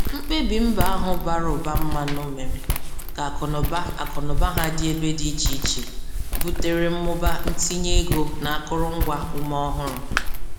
Mkpebi mba ahụ bara ụba mmanụ mere ka akụnụba akụnụba ha dị ebe dị iche iche butere mmụba ntinye ego n'akụrụngwa ume ọhụrụ.